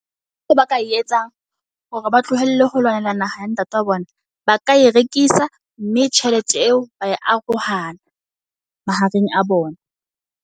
Ntho eo ba ka e etsang hore ba tlohelle ho lwanela naha ya ntate wa bona. Ba ka e rekisa mme tjhelete eo ba e arohana mahareng a bona.